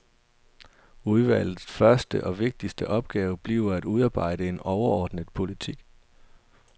Udvalgets første og vigtigste opgave bliver at udarbejde en overordnet politik.